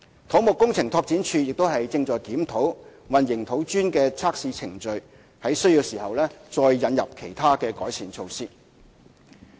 土木工程拓展署亦正檢討混凝土磚的測試程序，在需要時再引入其他改善措施。